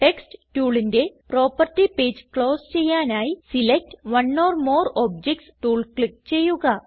text ടൂളിന്റെ property page close ചെയ്യാനായി select one or more objects tool click ചെയ്യുക